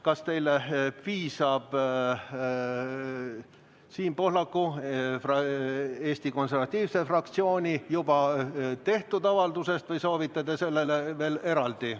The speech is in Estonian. Kas teile piisab Siim Pohlaku ja Eesti Konservatiivse Rahvaerakonna fraktsiooni juba tehtud avaldusest või soovite te veel eraldi avaldust?